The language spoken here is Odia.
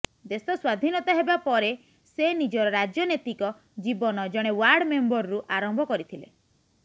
ଦେଶ ସ୍ୱାଧୀନତା ହେବା ପରେ ସେ ନିଜର ରାଜନେତିକ ଜୀବନ ଜଣେ ଓ୍ବାର୍ଡ ମେମ୍ବରରୁ ଆରମ୍ଭ କରିଥିଲେ